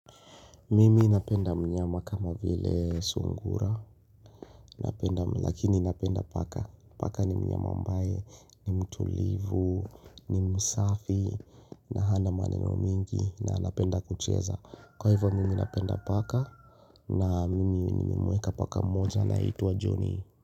Mimi napenda mnyama kama vile sungura Lakini napenda paka Paka ni mnyama ambaye ni mtulivu ni msafi na hana maneno mingi na anapenda kucheza Kwa hivyo mimi napenda paka na mimi nimemweka paka moja anayeitwa johny.